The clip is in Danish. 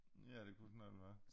Ja det kunne det nok være